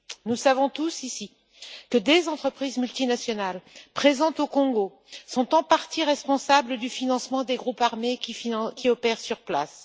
Nous savons tous, ici, que des entreprises multinationales présentes au Congo sont en partie responsables du financement des groupes armés qui opèrent sur place.